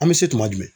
An bɛ se tuma jumɛn